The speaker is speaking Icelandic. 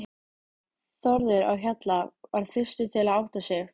Þórður á Hjalla varð fyrstur til að átta sig.